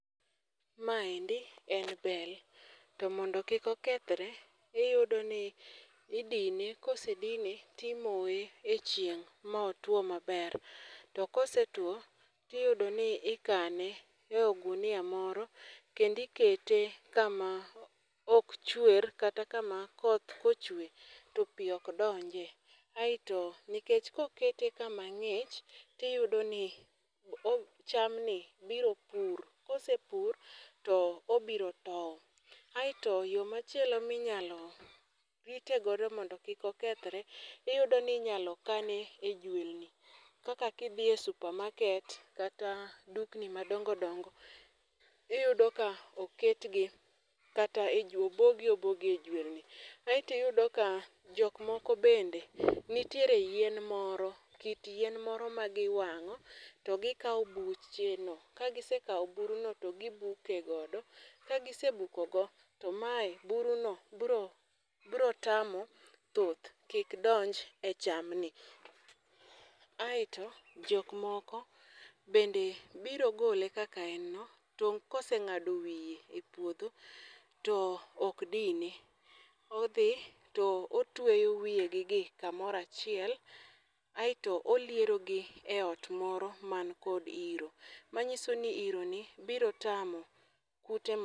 Maendi en bel. To mondo kik okethre, iyudo ni idine kosedine timoe e chieng', ma otwo maber. To kose two tiyudo ni ikane e ogunia moro kendi kete kama ok chwer kata kama koth kochwe to pi ok donje. Aeto nikech kokete kama ng'ich tiyudo ni o chamni biro pur, kose pur to obiro tow. Aeto yo machielo ma inyalo rite godo mondo kik okethre iyudo ni inyalo kane e juelni. Kaka kidhi e supermarket kata dukni madongo dongo iyudo ka oketgi kata e obogi obogi e juelni. Aeto iyudo ka jokmoko bende nitiere yien moro, kit yien moro ma giwango to gi kawo bucheno. Ka gisekawo buruno to gibuke godo. Ka gisebukogo, to mae buruno biro biro tamo thuth kik donje e chamni. Aeto jokmoko bende biro gole kaka en no, tong' kose ng'ado wiye e puodho to okdine, odhi to otweyo wiegigi kamoro achiel aeto olierogi eot moro man kod iro. Manyiso ni ironi biro tamo kute